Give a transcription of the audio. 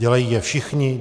Dělají je všichni.